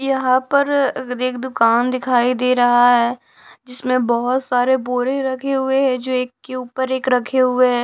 यहां पर अगर एक दुकान दिखाई दे रहा है जिसमें बहोत सारे बोरे रखे हुए हैं जो एक के ऊपर एक रखे हुए हैं।